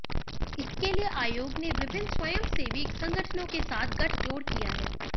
इसके लिए आयोग ने विभिन्न स्वयंसेवी संगठनों के साथ गठजोड़ किया है